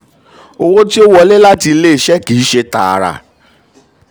owó tó wọlé láti ilé-iṣẹ́ kì í um ṣe tààrà.